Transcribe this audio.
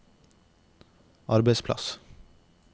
arbeidsplass